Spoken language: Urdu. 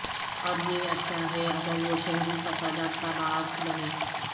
اور یہ اچھا ہے اگر وہ شہری فسادات کا باعث بنیں